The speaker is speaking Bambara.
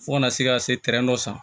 Fo kana se ka se dɔ san